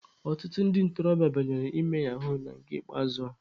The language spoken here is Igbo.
Ọtụtụ ndị ntorobịa banyere ime yahuu na nke ikpeazụ a.